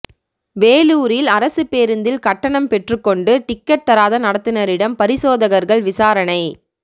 வேலூரில் அரசு பேருந்தில் கட்டணம் பெற்றுக்கொண்டு டிக்கெட் தராத நடத்துநரிடம் பரிசோதகர்கள் விசாரணை